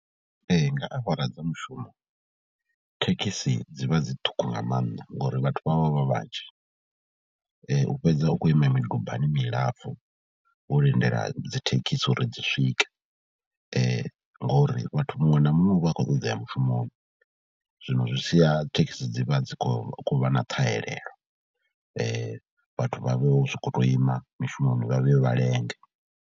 Ee, nga awara dza mushumo thekhisi dzi vha dzi ṱhukhu nga maanḓa ngori vhathu vha vha vha vha vhanzhi, u fhedza u khou ima midubani milapfhu, wo lindela dzi thekhisi uri dzi swike ngori vhathu muṅwe na muṅwe u vha a khou ṱoḓa u ya mushumoni zwino zwi sia thekhisi dzi vha dzi khou vha na ṱhahelelo. Vhathu vha vho sokou tou ima mishumoni vha vhuye vha lenge.